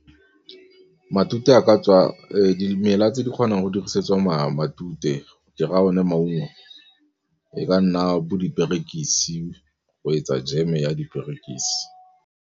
Dimela tse di kgonang go dirisetswa matute ke raya one maungo e ka nna bo diperekisi, go etsa jeme ya diperekisi.